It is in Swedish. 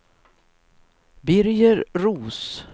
Birger Roos